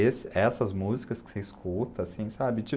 essas músicas que você escuta, assim, sabe?